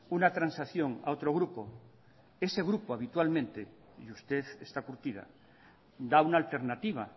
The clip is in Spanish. una transacción a otro grupo ese grupo habitualmente y usted está curtida da una alternativa